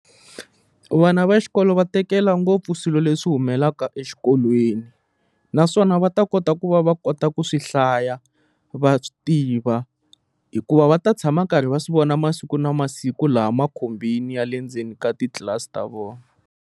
Vana va xikolo va tekela ngopfu swilo leswi humelaka exikolweni naswona va ta kota ku va va kota ku swi hlaya va swi tiva hikuva va ta tshama karhi va swi vona masiku na masiku laha makhombini ya le ndzeni ka titlilasi ta vona.